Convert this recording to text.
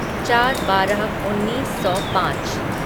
चार बारह उन्नीस सौ पाँच